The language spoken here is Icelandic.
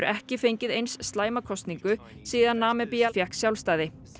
ekki fengið eins slæma kosningu síðan Namibía fékk sjálfstæði